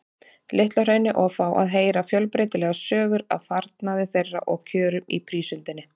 Litla-Hrauni og fá að heyra fjölbreytilegar sögur af farnaði þeirra og kjörum í prísundinni.